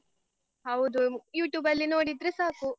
ಹೌದು YouTube ಅಲ್ಲಿ ನೋಡಿದ್ರೆ ಸಾಕು.